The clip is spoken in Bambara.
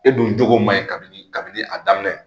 E dun cogo ma ɲin kabini a daminɛ.